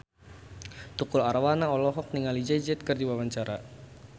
Tukul Arwana olohok ningali Jay Z keur diwawancara